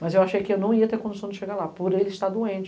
Mas eu achei que eu não ia ter condição de chegar lá, por ele estar doente.